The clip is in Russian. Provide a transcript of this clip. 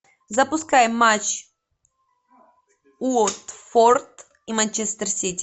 запускай матч уотфорд и манчестер сити